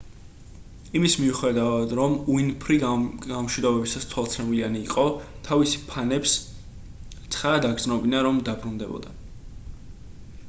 იმის მიუხედავად რომ უინფრი გამომშვიდობებისას თვალცრემლიანი იყო თავისი ფანებს ცხადად აგრძნობინა რომ დაბრუნდებოდა